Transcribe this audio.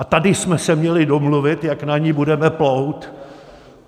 A tady jsme se měli domluvit, jak na ní budeme plout.